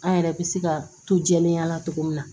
An yɛrɛ bɛ se ka to jɛlenya la cogo min na